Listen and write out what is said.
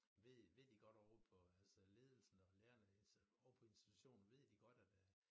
Ved ved de godt ovre på altså ledelsen og lærerne altså ovre på institutionen ved de godt at øh